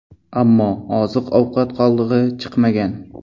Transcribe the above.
Ammo oziq-ovqat qoldig‘i chiqmagan.